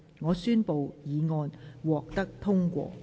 我宣布議案獲得通過。